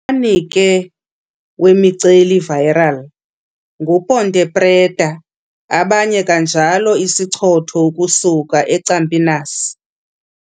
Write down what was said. ke wemiceli-rival ngu Ponte Preta, abaye kanjalo isichotho ukusuka Campinas.